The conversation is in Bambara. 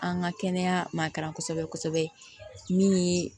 An ka kɛnɛya ma kalan kosɛbɛ kosɛbɛ min ye